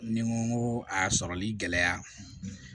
Ni n ko n ko a sɔrɔli gɛlɛya